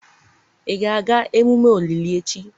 ị ga-aga emume olili echi?